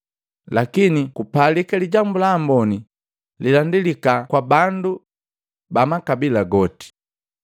Lakini kupalika Lijambu la Amboni lilandilika kwa bandu bamakabila goti.